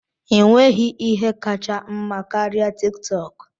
Ị nweghị ihe kacha mma ịme karịa TikTok?